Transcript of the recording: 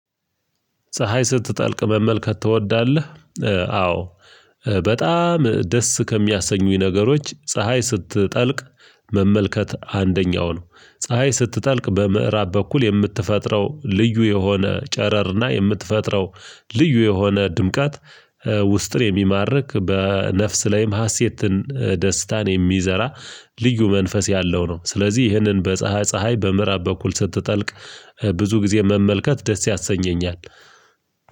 ፀሀይ ስትጠልቅ መመልከት ትወዳለህ? አዎ በጣም ደስ ከሚያሰኙኝ ነገሮች ፀሀይ ስትጠልቅ መመልከት አንደኛው ነው። ፀሀይ ስትጠልቅ በምዕራብ በኩል የምትፈጥረው ልዩ የሆነ ጨረርና የምትፈጥረው ልዩ የሆነ ድምቀት ውስጥን የሚማርክ በነፍስ ላይም ሀሴትን ደስታን የሚዘራ ልዩ መንፈስ ያለው ነው። ስለዚህ ይህንን በፀሀይ ፀሀይ በምዕራብ በኩል ስትጠልቅ ብዙ ጊዜ መመልከት ደስ ያሰኘኛል።